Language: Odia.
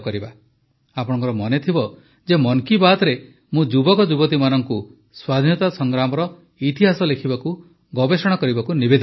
ଆପଣଙ୍କର ମନେଥିବ ଯେ ମନ୍ କୀ ବାତ୍ରେ ମୁଁ ଯୁବକ ଯୁବତୀମାନଙ୍କୁ ସ୍ୱାଧୀନତା ସଂଗ୍ରାମର ଇତିହାସ ଲେଖିବାକୁ ଗବେଷଣା କରିବାକୁ ନିବେଦନ କରିଥିଲି